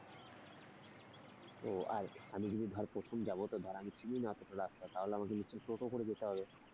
ও আর আমি যদি ধর প্রথম যাবো তো ধর আমি চিনিনা অতটা রাস্তা তাহলে আমাকে নিশ্চয়ই টোটো করে যেতে হবে।